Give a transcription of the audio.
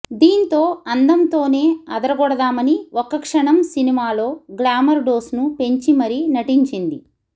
దీంతో అందంతోనే అదరగొడదామని ఒక్కక్షణం సినిమాలో గ్లామర్ డోస్ను పెంచి మరీ నటించింది